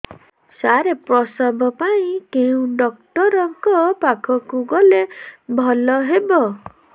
ସାର ପ୍ରସବ ପାଇଁ କେଉଁ ଡକ୍ଟର ଙ୍କ ପାଖକୁ ଗଲେ ଭଲ ହେବ